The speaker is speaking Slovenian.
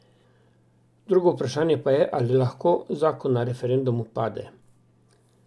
Drugo vprašanje pa je, ali lahko zakon na referendumu pade.